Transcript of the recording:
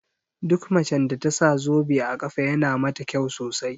Duk macen da tasa zobe a ƙafa yana mata kyau sosai